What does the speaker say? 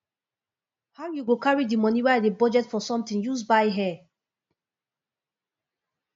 how you go carry the money wey i dey budget for something use buy hair